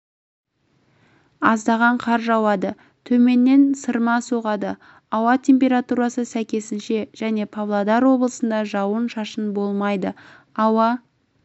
аздаған қар жауады төменнен сырма соғады ауа температурасы сәйкесінше және павлодар облысында жауын-шашын болмайды ауа